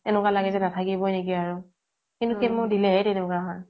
এনেকুৱা লাগে যে নাথাকিবই নেকি আৰ আৰু chemo দিলেহে তেনেকুৱা হয়